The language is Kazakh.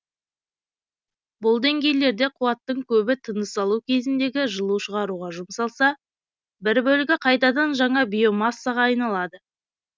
бұл деңгейлерде қуаттың көбі тыныс алу кезіндегі жылу шығаруға жұмсалса бір бөлігі қайтадан жаңа биомассаға айналады